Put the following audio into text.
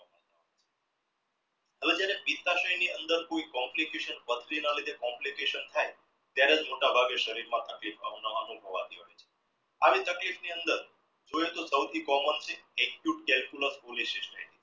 અને જેને ની અંદર કોઈ complications પથરી ના લીધે complications ત્યારેજ મોટા ભાગે સરીર માં એવી તકલીફ ની અંદર જોઇયે તો સાવથી common છે